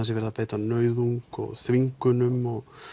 sé verið að beita nauðung og þvingunum